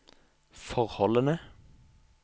forholdene